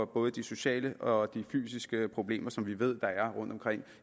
både de sociale og de fysiske problemer som vi ved der er rundtomkring